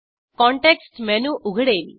context menu उघडेल